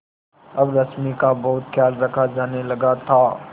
अब रश्मि का बहुत ख्याल रखा जाने लगा था